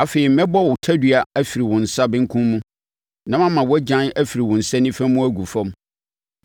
Afei, mɛbɔ wo tadua afiri wo nsa benkum mu na mama wʼagyan afiri wo nsa nifa mu agu fam.